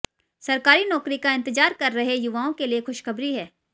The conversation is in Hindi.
सरकारी नौकरी का इंतजार कर रहे युवाओं के लिए खुशखबरी है